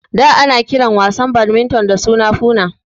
Da ana kiran wasan badminton da suna Foona